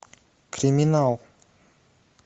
криминал